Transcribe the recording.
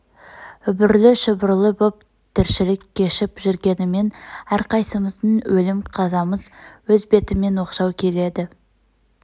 үбрлі-шүбрлі боп тіршілік кешіп жүргенімен әрқайсымыздың өлім қазамыз өз бетімен оқшау келеді